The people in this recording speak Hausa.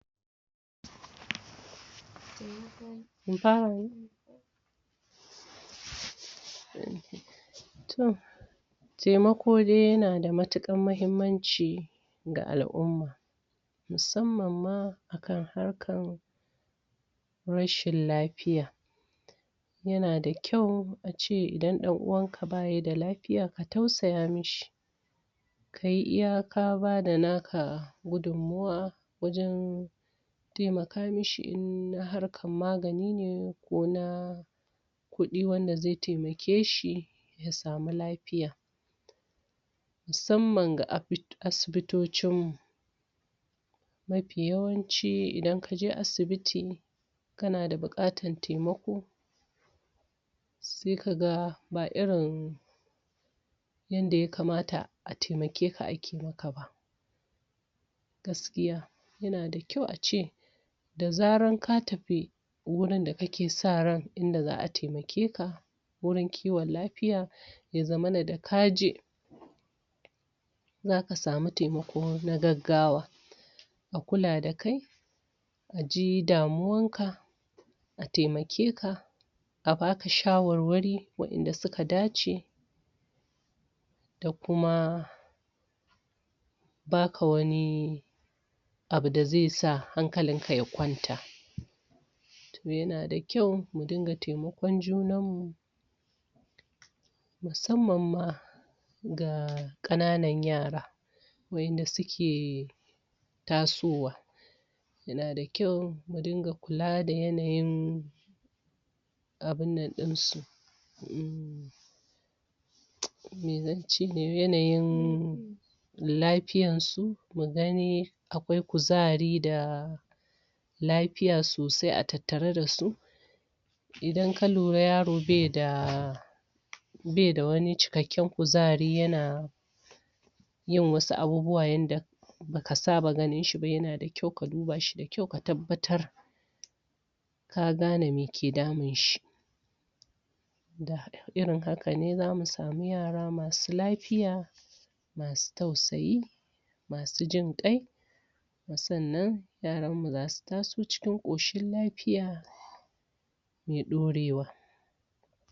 Taimako dai yana da matuƙaer muhimmanci ga al'umm. musamman ma akan harkar rashin lafiya. yana da kyau an ce idan ɗan uwanka ba ya da lafiya ka tausaya mashi. kai iya ka ba da naka gudunmuwa wajen ka taimaka mashi in na harkar magani ne ko na kuɗi wanda zai taimake shi ya samu lafiya. musamman ga asibitocinmu. mafi yawanci idan kaje asibit kana da buƙatar taimako sai ka ga ba irin yanda ya kamata a taimake ka a ke maka ba. Gaskiya yana da kyau a ce Da zarar ka tafi wurin da kake sa ran inda za a taimake ka wurin kiwon lafiya, ya zaman da ka je za ka samu taimako na gaggawa. A kula da kai, a ji damuwanka a taimake ka, a ba ka shawarwari waɗanda suka da ce. da kuma ba ka wani abu da zai sa hankalinka ya kwanata. To yana da kyau mu dinga taimakon junanmu. Musamman ma ga ƙananan yara. Waɗanda suke, tasowa. Yana da kyau mu dinga kula da yanayin, abin nan ɗinsu. um yanayin lafyansu mu gani akwai kuzari bai da wani cikakken kuzari yana yin wasu abubuwa yanda ba ka saba ganin shi ba yana da kyau ka duba shi da kyau ka tabbatar ka ga ne me ke damun shi. Da irin haka ne za mu samu yara masu lafiya, masu tausayi, masu jin ƙai. sannan yaranmu za su taso cikin ƙoshin lafiya. mai ɗorewa.